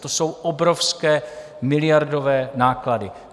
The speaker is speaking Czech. To jsou obrovské miliardové náklady.